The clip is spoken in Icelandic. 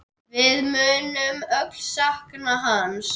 Við munum öll sakna hans.